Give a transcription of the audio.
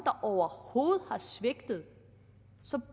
overhovedet har svigtet så